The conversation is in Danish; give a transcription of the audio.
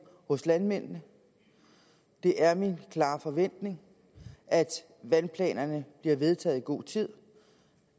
hos landmændene det er min klare forventning at vandplanerne bliver vedtaget i god tid